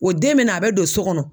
O den bɛ na a bɛ don so kɔnɔ.